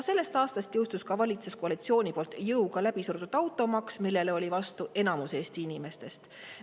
Sellest aastast jõustus ka automaks, mille valitsuskoalitsioon jõuga läbi surus ja millele oli vastu enamik Eesti inimestest.